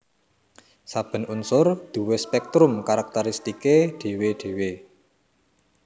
Saben unsur duwé spèktrum karakteristiké dhéwé dhéwé